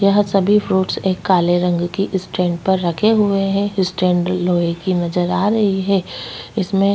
यहाँ सभी फ्रूट्स एक काले रंग की स्टैंड पर रखे हुए है स्टैंड लोहै की नज़र आ रही है इसमें --